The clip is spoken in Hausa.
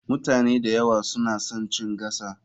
Mutane da yawa suna son chin gasa.